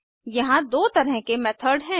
यहाँ दो तरह के मेथड हैं